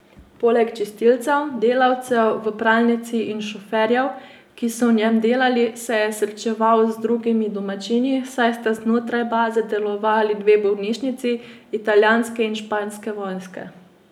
Poleg čistilcev, delavcev v pralnici in šoferjev, ki so v njem delali, se je srečeval z drugimi domačini, saj sta znotraj baze delovali dve bolnišnici, italijanske in španske vojske.